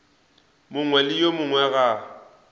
mongwe le yo mongwe ga